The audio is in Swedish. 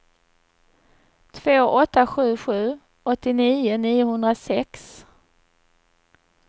två åtta sju sju åttionio niohundrasex